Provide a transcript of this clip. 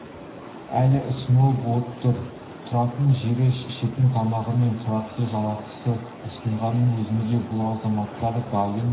әлі ұсынылып отыр тұратын жері ішетін тамағы мен тұрақты жалақы ұсынғанның өзінде бұл азаматтар дайын